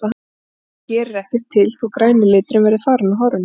Og þá gerir ekkert til þó að græni liturinn verði farinn úr hárinu.